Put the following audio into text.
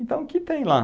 Então, o que tem lá?